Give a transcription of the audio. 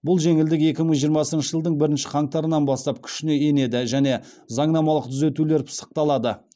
бұл жеңілдік екі мың жиырмасыншы жылдың бірінші қаңтарынан бастап күшіне енеді және заңнамалық түзетулер пысықталды